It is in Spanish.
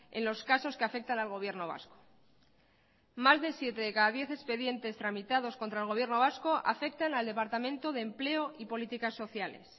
en los casos que afectan al gobierno vasco más de siete de cada diez expedientes tramitados contra el gobierno vasco afectan al departamento de empleo y políticas sociales